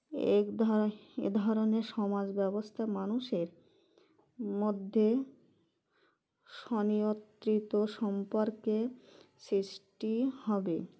একধ এধরনের সমাজব্যবস্থা মানুষের মধ্যে স্বনিয়ত্রিত সম্পর্কের সৃষ্টি হবে